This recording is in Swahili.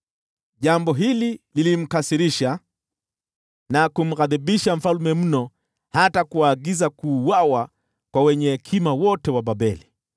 Jambo hili lilimkasirisha na kumghadhibisha mfalme mno hata kuagiza kuuawa kwa wenye hekima wote wa Babeli.